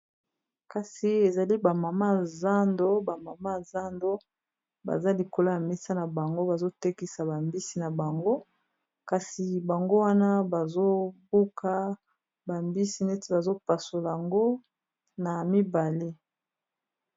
Kasi awa ezali ba mama ya zando baza likolo ya mesa na bango bazotekisa bambisi na bango, kasi bango wana bazobuka bambisi neti bazopasola yango na mibale.